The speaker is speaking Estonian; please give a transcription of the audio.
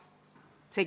Aitäh, hea juhataja!